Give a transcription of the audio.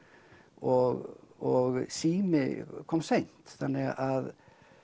og sími kom seint þannig að